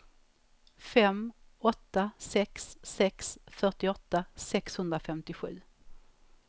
fem åtta sex sex fyrtioåtta sexhundrafemtiosju